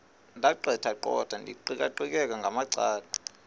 ndaqetheqotha ndiqikaqikeka ngamacala